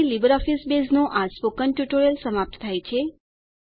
અહીં લીબરઓફીસ બેઝનું આ સ્પોકન ટ્યુટોરીયલ સમાપ્ત થાય છે